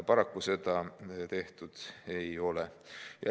Paraku seda tehtud ei ole.